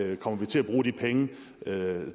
man kommer til at bruge de penge